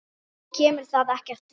Þér kemur það ekki við.